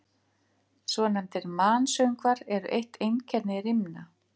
Svonefndir mansöngvar eru eitt einkenni rímna.